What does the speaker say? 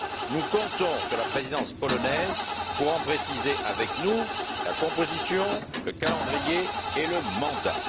Nous comptons sur la présidence polonaise pour en préciser avec nous, la composition, le calendrier et le mandat.